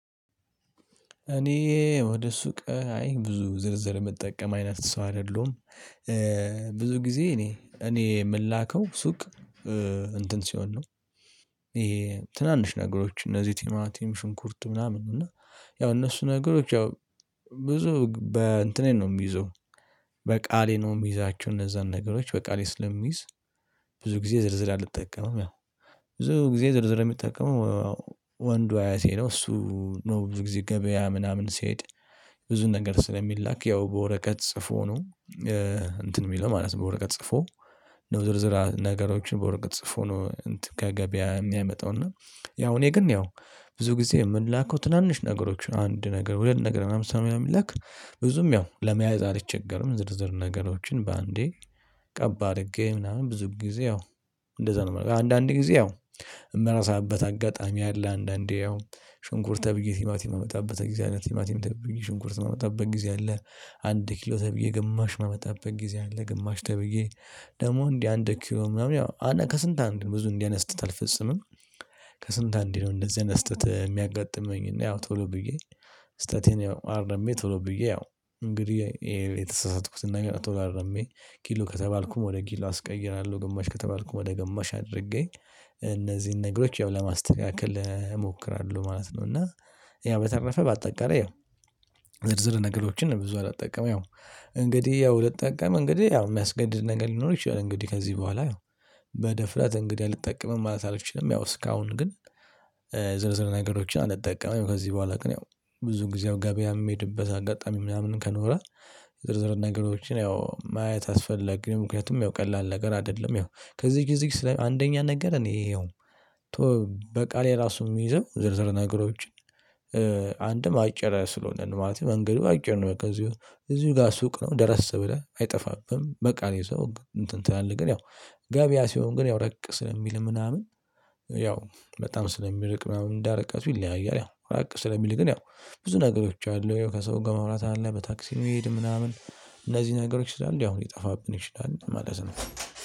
እኔ ወደ ሱቅ አይ ብዙ ዝርዝር የምጠቀም አይነት ሰው አይደለሁም። ብዙ ጊዜ እኔ እኔ የምላከው ሱቅ እንትን ሲሆን ነው። ይሄ ትናንሽ ነገሮች እነዚህ ቲማቲም ሽንኩርት ምናምን ነው እና ያው እነሱ ነገሮች ያው ብዙ በእንትኔ ነው የሚይዘው በቃሌ ነው የሚይዛችሁ እነዛን ነገሮች በቃሌ ስለሚይዝ። ብዙ ጊዜ ዝርዝር አልጠቀመም ያው ብዙ ጊዜ ዝርዝር የምጠቀመው ወንዱ አያቴ ነው እሱ ነው ብዙ ጊዜ ገበያ ምናምን ሲሄድ። ብዙ ነገር ስለሚላክ ያው በወረቀት ጽፎ ነው። እንትን የሚለው ማለት ነው በወረቀት ጽፎ ዝርዝር ነገሮችን በወረቀት ጽፎ ነው። ከገበያ የሚያመጣው እና ያው እኔ ግን ያው ብዙ ጊዜ የምላከው ትናንሽ ነገሮችን አንድ ነገር ሁለት ነገር ምናምን ስለሆነ የምላክ ብዙም ያው ለመያዝ አልቸገርም። ዝርዝር ነገሮችን በአንዴ ቀብ አድርጌ ምናምን ብዙ ጊዜ ያው እንደዛ ነው የምለው አንዳንዴ ጊዜ ያው የምረሳበት አጋጣሚ አለ። አንዳንዴ ያው ሽንኩርት ተብዬ ቲማቲም የምመጣበት ጊዜ አለ ቲማቲም ተብዬ ሽንኩርት ማመጣበት ጊዜ አለ። አንድ ኪሎ ተብዬ ግማሽ ማመጣበት ጊዜ አለ ግማሽ ተብዬ ደግሞ እንዲህ አንድ ኪሎ ምናምን ያው ከስንት አንዴ ብዙ እንዲህ አይነት ስህተት አልፈጽምም። ከስንት አንዴ ነው እንደዚህ አይነት ስህተት የሚያጋጥመኝ እና ያው ቶሎ ብዬ ስህተቴን አርሜ ቶሎ ብዬ ያው እንግዲህ የተሳሳትኩትን ነገር ቶሎ አርሜ ኪሎ ከተባልኩም ወደ ኪሎ አስቀይራለሁ ግማሽ ከተባልኩም ወደ ግማሽ አድርጌ እነዚህን ነገሮች ያው ለማስተካከል እሞክራለሁ ማለት ነው። እና ያው በተረፈ ባጠቃላይ ያው ዝርዝር ነገሮችን ብዙ አልጠቀመም። ያው እንግዲህ ያው ልጠቀም እንግዲህ ያው የሚያስገድድ ነገር ሊኖር ይችላል እንግዲህ ከዚህ በኋላ በደፍረት እንግዲህ አልጠቀምም ማለት አልችልም። ያው እስካሁን ግን ዝርዝር ነገሮችን አልጠቀምም። ከዚህ በኋላ ቀን ያው ብዙ ጊዜው ገበያም የሚሄድበት አጋጣሚ ምናምን ከኖረ ዝርዝር ነገሮችን ያው ማየት አስፈለገ ምክንያቱም ያው ቀላል ነገር አይደለም። ያው ከዚህ ጊዜ አንደኛ ነገር እኔ ያው በቃሌ ራሱ የሚይዘው ዝርዝር ነገሮች አንድም አጭር ስለሆነ ነው ማለት ነው መንገዱ አጭር ነው። እዚሁ ጋር ሱቅ ነው ደረስ ብለህ አይጠፋብህም። በቃ እኔ ሰው እንትን ትላለህ ግን ያው ገበያ ሲሆን ግን ያው ራቅ ስለሚል ምናምን ያው በጣም ስለሚርቅ ምናምን እንደርቀቱ ይለያያል። ያው ራቅ ስለሚል ግን ያው ብዙ ነገሮች አሉ ከሰው ጋር ማውራት አለ በታክሲ መሄድ ምናምን እነዚህ ነገሮች ስላሉ ያው ሊጠፋብን ይችላል ማለት ነው